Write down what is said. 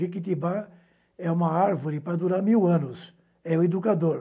Jequitibá é uma árvore para durar mil anos, é o educador.